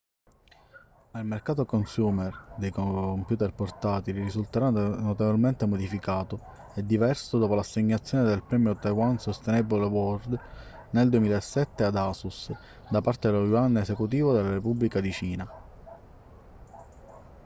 ma il mercato consumer dei computer portatili risulterà notevolmente modificato e diverso dopo l'assegnazione del premio taiwan sustainable award nel 2007 ad asus da parte dello yuan esecutivo della repubblica di cina